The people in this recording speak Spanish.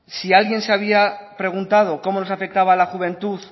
si alguien se había preguntado cómo nos afectaba a la juventud